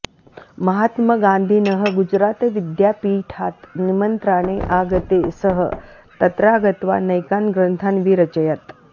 महात्मगान्धिनः गुजरातविद्यापीठात् निमन्त्राणे आगते सः तत्रा गत्वा नैकान् ग्रन्थान् विरचयत्